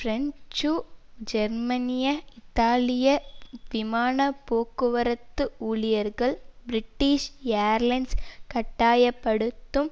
French ஜெர்மனிய இத்தாலிய விமான போக்குவரத்து ஊழியர்கள் பிரிட்டிஷ் ஏயர்லைன்ஸ் கட்டாய படுத்தும்